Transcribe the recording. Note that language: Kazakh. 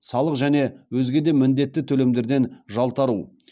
салық және өзге де міндетті төлемдерден жалтару